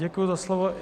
Děkuji za slovo.